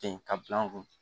Ten ka bila an kun